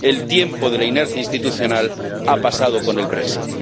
El tiempo de la inercia institucional ha pasado con el brexit